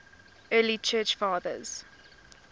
early church fathers